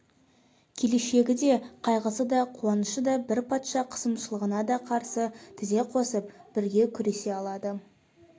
келешегі де қайғысы да қуанышы да бір патша қысымшылығына да қарсы тізе қосып бірге күресе алады